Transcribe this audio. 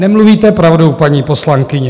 Nemluvíte pravdu, paní poslankyně.